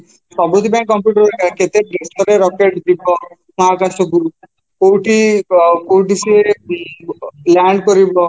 ସେ ସବୁଠି ପାଇଁ computer ଦରକାର କେତେ rocket ଯିବା ମହାକାଶକୁ କୋଉଠି କୋଉଠି ସିଏ land କରିବ